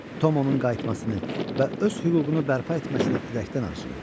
Tom onun qayıtmasını və öz hüququnu bərpa etməsini ürəkdən arzulayırdı.